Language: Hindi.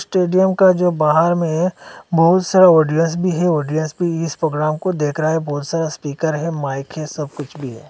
स्टेडियम का जो बाहर में है बहुत सारा ऑडियंस भी है ऑडियंस भी इस प्रोग्राम को देख रहा है बहुत सारा स्पीकर है माइक सब कुछ भी है।